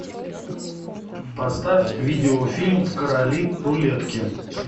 поставь видеофильм короли рулетки